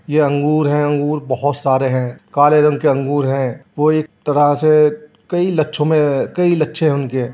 यह अंगूर है अंगूर बहुत सारे हैं काले रंग के अंगूर हैं वो एक तरह से कई लच्छो मे कई लच्छे होंगे।